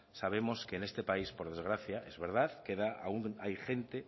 sabemos que en este país por desgracia es verdad queda aún hay gente